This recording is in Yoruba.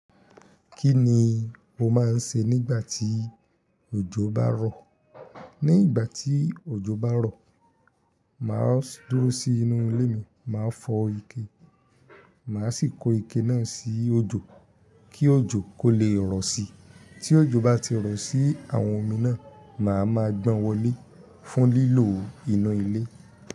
Kí ni o máa ń ṣe nígbà tí òjò bá rọ̀? Ní ìgbà tí òjò bá rọ̀, mà á dúró sí inú ilé mi, mà á fọ ike, mà á sì kó ike náà sí ojò kí òjò kó lè rọ̀ síi. Tí òjò bá ti rọ̀ sí àwọn omi náà, mà á máa gbọn wọlé fún lílò inú ilé.